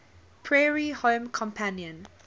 prairie home companion